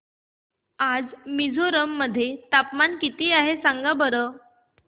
आज मिझोरम मध्ये तापमान किती आहे सांगा बरं